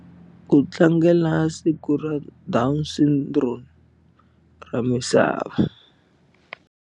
Ku Tlangela Siku ra Down Syndrome ra Misava.